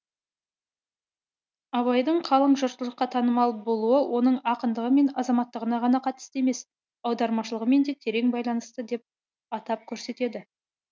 абайдың қалың жұртшылыққа танымал болуы оның ақындығы мен азаматтығына ғана қатысты емес аудармашылығымен де терең байланысты деп атап көрсетеді